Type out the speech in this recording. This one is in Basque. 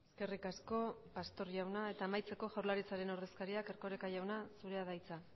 eskerrik asko pastor jauna eta amaitzeko jaurlaritzaren ordezkariak erkoreka jauna zurea da hitza